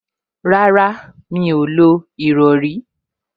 Rárá, Mí ò lo ìrọrí